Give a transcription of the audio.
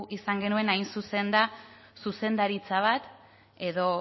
izan genuen hain zuzen da zuzendaritza bat edo